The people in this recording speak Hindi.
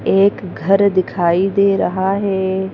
एक घर दिखाई दे रहा है।